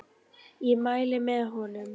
Ég mæli með honum.